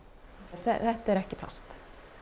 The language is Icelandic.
þetta er ekki plast